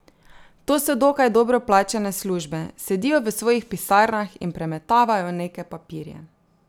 To so dokaj dobro plačane službe, sedijo v svojih pisarnah in premetavajo neke papirje.